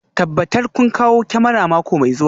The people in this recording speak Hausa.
Tabbatar kun kawo kyamarar mako mai zuwa